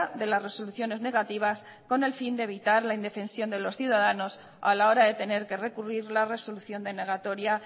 de las resoluciones negativas con el fin de evitar la indefensión de los ciudadanos a la hora de tener que recurrir la resolución denegatoria